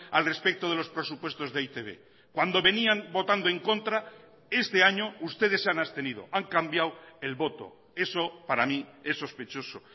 al respecto de los presupuestos de e i te be cuando venían votando en contra este año ustedes se han abstenido han cambiado el voto eso para mí es sospechoso